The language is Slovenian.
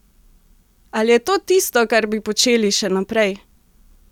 Ali je to tisto, kar bi počeli še naprej?